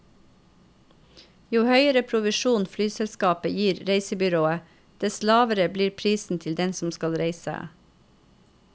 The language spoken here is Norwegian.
Jo høyere provisjon flyselskapet gir reisebyrået, dess lavere blir prisen til den som skal reise.